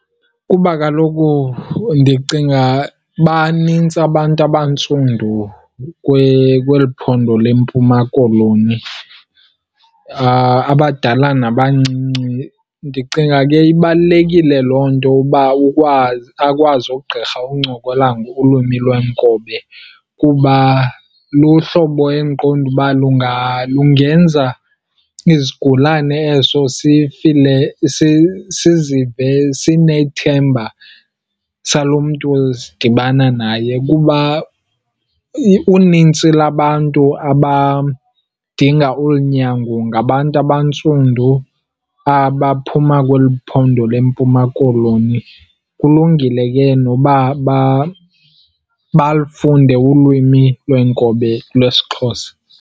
Kuba kaloku ndicinga banintsi abantu abantsundu kweli phondo leMpuma Koloni, abadala nabancinci. Ndicinga ke ibalulekile loo nto uba ukwazi, akwazi ugqirha uncokola ngolwimi lweenkobe kuba luhlobo endiqonda uba lungenza isigulane eso sizive sinethemba salo mntu sidibana naye. Kuba unintsi lwabantu abadinga olu nyango ngabantu abantsundu abaphuma kweli phondo leMpuma Koloni. Kulungile ke noba balufunde ulwimi lweenkobe lwesiXhosa.